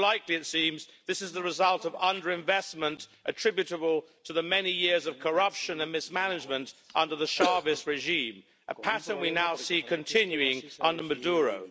Much more likely, it seems, it was the result of underinvestment, attributable to the many years of corruption and mismanagement under the Chavez regime a pattern we now see continuing under Maduro.